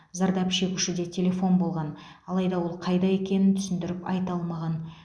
зардап шегушіде телефон болған алайда ол қайда екенін түсіндіріп айта алмаған